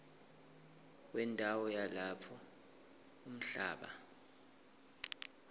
wendawo yalapho umhlaba